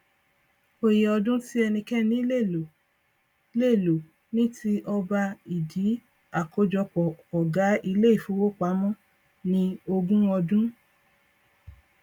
òye ọdún tí ẹnikẹni lè lò lè lò ní ti ọba ìdí akójọpọ ọgá ilé ifówopàmọ ni ogún ọdún